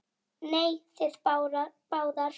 Nei, þið báðar.